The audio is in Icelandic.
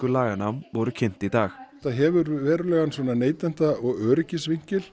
laganna voru kynnt í dag þetta hefur neytenda og